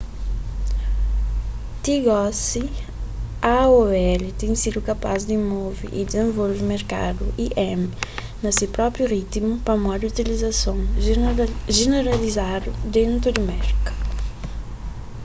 ti gosi aol ten sidu kapaz di move y dizenvolve merkadu im na se própi ritimu pamodi utilizason jeneralizadu dentu di merka